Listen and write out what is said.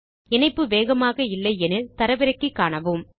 உங்கள் இணைப்பு வேகமாக இல்லை எனில் அதை தரவிறக்கி காணுங்கள்